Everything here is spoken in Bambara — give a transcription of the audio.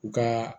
U ka